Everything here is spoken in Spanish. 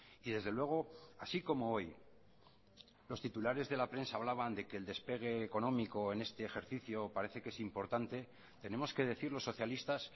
y desde luego así como hoy los titulares de la prensa hablaban de que el despegue económico en este ejercicio parece que es importante tenemos que decir los socialistas